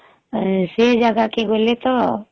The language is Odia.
ସେ ଜାଗା କେ ଗଲେ ତ